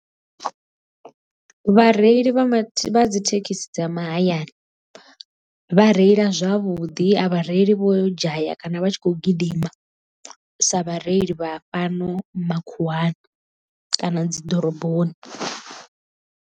Vhareili vha dzi thekhisi dza mahayani vha reila zwavhuḓi a vhareili vho dzhaya kana vha tshi khou gidima sa vhareili vha fhano makhuwani kana dzi ḓoroboni.